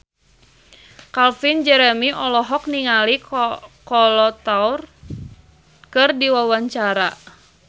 Calvin Jeremy olohok ningali Kolo Taure keur diwawancara